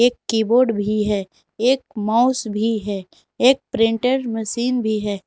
एक कीबोर्ड भी है एक माउस भी है एक प्रिंटेर मसीन भी है।